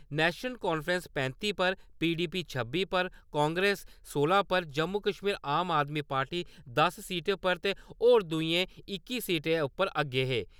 National conference पैंती पर, PDP छब्बी पर, कांग्रेस सोलां पर, जम्मू-कश्मीर आम अपनी पार्टी दस सीटें पर ते होर दूए इक्की सीटें उप्पर अग्गे हे।